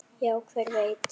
Já, hver veit?